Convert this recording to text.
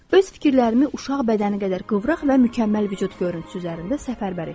Öz fikirlərimi uşaq bədəni qədər qıvraq və mükəmməl vücud görüntüsü üzərində səfərbər etdim.